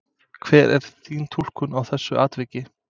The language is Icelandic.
Hver er þín túlkun á þessu atviki?